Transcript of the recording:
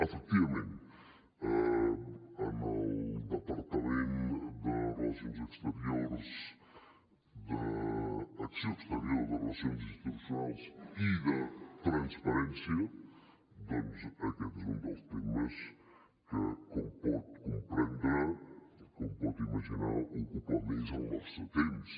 efectivament en el departament d’acció exterior de relacions institucionals i transparència doncs aquest és un dels temes que com pot comprendre com pot imaginar ocupa més el nostre temps